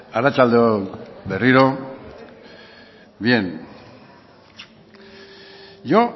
arratsalde on berriro bien yo